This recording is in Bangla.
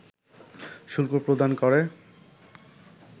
শুল্ক প্রদান করে